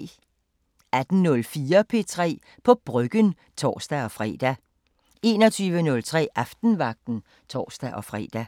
18:04: P3 på Bryggen (tor-fre) 21:03: Aftenvagten (tor-fre)